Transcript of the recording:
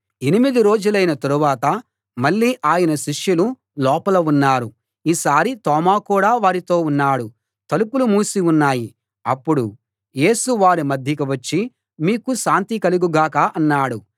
ఎనిమిది రోజులైన తరువాత మళ్ళీ ఆయన శిష్యులు లోపల ఉన్నారు ఈసారి తోమా కూడా వారితో ఉన్నాడు తలుపులు మూసి ఉన్నాయి అప్పుడు యేసు వారి మధ్యకు వచ్చి మీకు శాంతి కలుగు గాక అన్నాడు